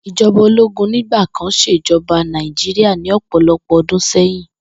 Ijoba ologun nigba kan sejoba Nàìjíríà ni opolopo odun seyin.